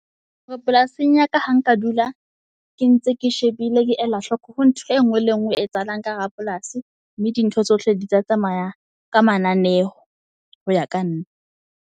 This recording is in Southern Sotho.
Hore polasing ya ka, ho nka dula, ke ntse ke shebile, ke ela hloko ho ntho engwe le ngwe e etsahalang ka hara polasi. Mme di ntho tsohle di tla tsamaya ka mananeho hoya ka nna.